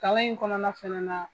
Kalan in kɔnɔna fɛnɛ na